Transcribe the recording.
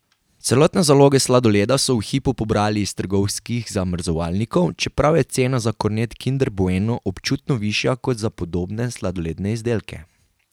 Celotne zaloge sladoleda so v hipu pobrali iz trgovskih zamrzovalnikov, čeprav je cena za kornet kinder bueno občutno višja kot za podobne sladoledne izdelke.